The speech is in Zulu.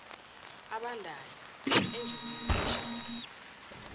abandayo enjinini eshisayo